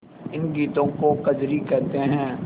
इन गीतों को कजरी कहते हैं